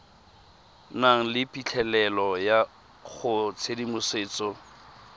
nang le phitlhelelo go tshedimosetso